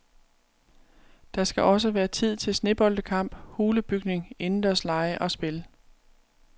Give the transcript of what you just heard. Der skal også være tid til sneboldkampe, hulebygning, indendørslege og spil.